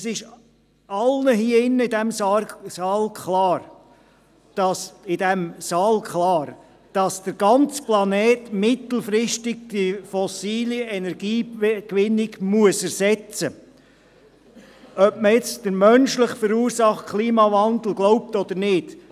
Es ist allen in diesem Saal klar, dass der ganze Planet mittelfristig die fossile Energiegewinnung ersetzen muss, ob man nun an den menschlich verursachten Klimawandel glaubt oder nicht.